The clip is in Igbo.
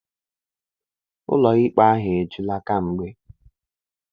Ụlọikpe ahụ ejula kamgbe.